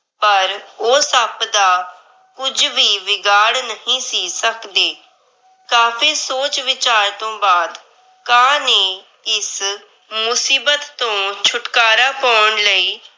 ਪਰ ਉਹ ਸੱਪ ਦਾ ਕੁੱਝ ਵੀ ਵਿਗਾੜ ਨਹੀਂ ਸੀ ਸੱਕਦੇ। ਕਾਫ਼ੀ ਸੋਚ ਵਿਚਾਰ ਤੋਂ ਬਾਦ ਕਾਂ ਨੇ ਇਸ ਮੁਸੀਬਤ ਤੋਂ ਛੁਟਕਾਰਾ ਪੌਣ ਲਈ